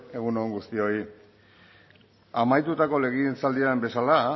egun on guztioi amaitutako legegintzaldian bezala